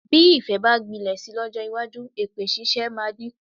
Bí ìfẹ́ bá gbilẹ̀ si lọ́jọ́ iwájú, èpè ṣíṣe máa dínkù.